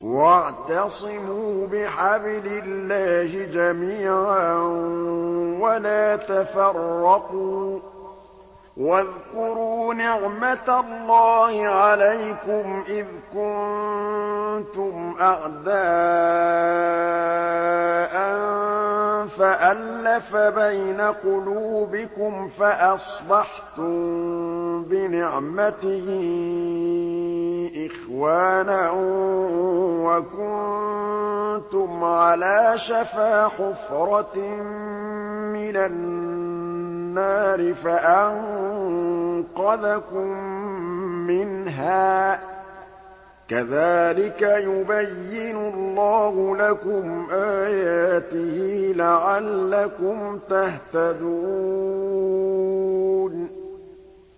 وَاعْتَصِمُوا بِحَبْلِ اللَّهِ جَمِيعًا وَلَا تَفَرَّقُوا ۚ وَاذْكُرُوا نِعْمَتَ اللَّهِ عَلَيْكُمْ إِذْ كُنتُمْ أَعْدَاءً فَأَلَّفَ بَيْنَ قُلُوبِكُمْ فَأَصْبَحْتُم بِنِعْمَتِهِ إِخْوَانًا وَكُنتُمْ عَلَىٰ شَفَا حُفْرَةٍ مِّنَ النَّارِ فَأَنقَذَكُم مِّنْهَا ۗ كَذَٰلِكَ يُبَيِّنُ اللَّهُ لَكُمْ آيَاتِهِ لَعَلَّكُمْ تَهْتَدُونَ